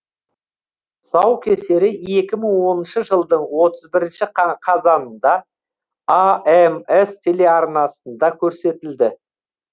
тұсаукесері екі мың оныншы жылдың отыз бірінші қа қазанында амс телеарнасында көрсетілді